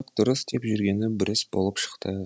дұрыс деп жүргені бұрыс болып шықты